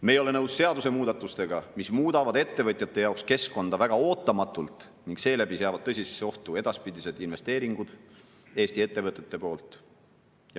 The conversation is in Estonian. Me ei ole nõus seadusemuudatustega, mis muudavad ettevõtjate jaoks keskkonda väga ootamatult ning seeläbi seavad tõsisesse ohtu edaspidised investeeringud Eesti ettevõtete poolt.